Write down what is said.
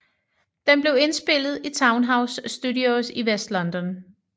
Den blev indspillet i Townhouse Studios i West London